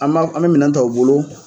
An b'a an bɛ minɛn ta u bolo.